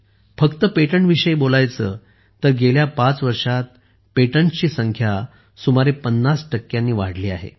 फक्त पेटंटविषयी बोलायचे तर गेल्या पाच वर्षांत पेटंटसची संख्या सुमारे 50 टक्क्यांनी वाढली आहे